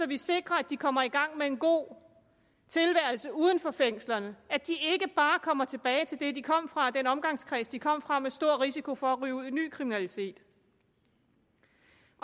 vi sikrer at de kommer i gang med en god tilværelse uden for fængslerne at de ikke bare kommer tilbage til det de kom fra og den omgangskreds de kom fra med stor risiko for at ryge ud i ny kriminalitet